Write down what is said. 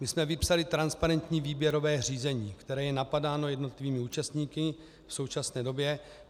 My jsme vypsali transparentní výběrové řízení, které je napadáno jednotlivými účastníky v současné době.